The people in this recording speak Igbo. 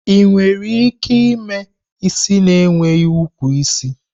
Ị nwere ike ime isi na enweghi ukwu isi?